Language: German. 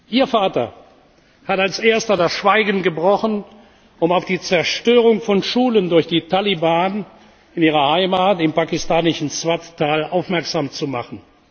Ihr Vater hat als Erster das Schweigen gebrochen, um auf die Zerstörung von Schulen durch die Taliban in Ihrer Heimat im pakistanischen Swat Tal aufmerksam zu machen.